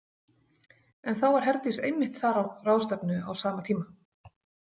En þá var Herdís einmitt þar á ráðstefnu á sama tíma.